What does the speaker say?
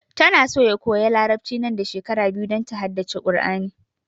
Ta na so ya koya larabci nan da shekara biyu don ta haddace Kur'ani